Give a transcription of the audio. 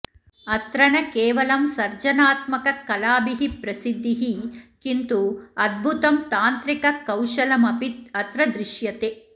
अत्र न केवलं सर्जनात्मककलाभिः प्रसिद्धिः किन्तु अद्भुतं तान्त्रिककौशलम् अपि अत्र दृश्यते